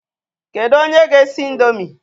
Kedụ onye ga-esi ị̀ndómị́?